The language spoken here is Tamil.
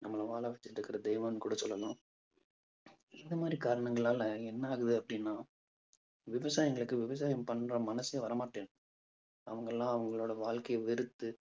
நம்மளை வாழ வச்சுட்டிருக்கிற தெய்வம்னு கூட சொல்லலாம். இந்த மாதிரி காரணங்களால என்ன ஆகுது அப்பிடின்னா விவசாயிங்களுக்கு விவசாயம் பண்ற மனசே வரமாட்டேங்குது அவங்கெல்லாம் அவங்களோட வாழ்க்கைய வெறுத்து